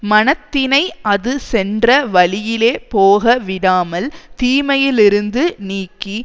மனத்தினை அது சென்ற வழியிலே போக விடாமல் தீமையிலிருந்து நீக்கி